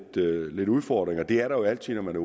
lidt udfordringer det er der jo altid når man